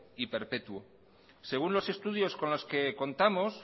y perpetuo según los estudios con los que contamos